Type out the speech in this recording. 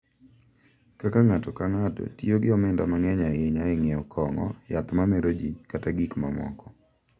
Kaka ng’ato ka ng’ato tiyo gi omenda mang’eny ahinya e ng’iewo kong’o, yath ma mero ji, kata gik mamoko.